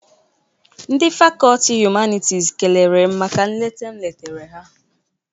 Ndị fakọti Humanitis kelere m maka nleta m letara ha.